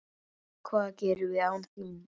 Hvað gerum við án þín?